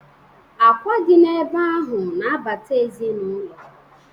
Akwa dị n' ebe ahụ na-abata ezinụlọ.